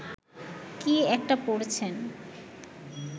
কী একটা পড়ছেন